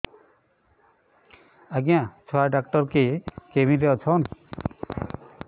ଆଜ୍ଞା ଛୁଆ ଡାକ୍ତର କେ କେବିନ୍ ରେ ଅଛନ୍